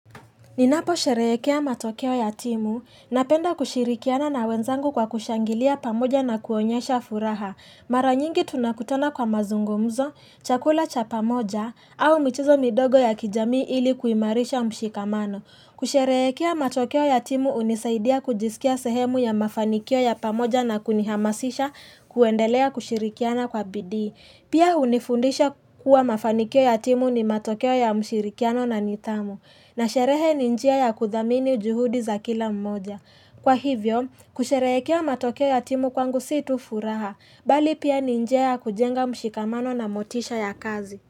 Ninaposherehekea matokeo ya timu napenda kushirikiana na wenzangu kwa kushangilia pamoja na kuonyesha furaha. Mara nyingi tunakutana kwa mazungumzo, chakula cha pamoja, au michezo midogo ya kijamii ili kuimarisha mshikamano. Kusherehekea matokeo ya timu hunisaidia kujisikia sehemu ya mafanikio ya pamoja na kunihamasisha kuendelea kushirikiana kwa bidii Pia hunifundisha kuwa mafanikio ya timu ni matokeo ya mshirikiano na ni tamu. Na sherehe ni njia ya kuthamini juhudi za kila mmoja. Kwa hivyo, kusherehekea matokeo ya timu kwangu si tu furaha, bali pia ni njia ya kujenga mshikamano na motisha ya kazi.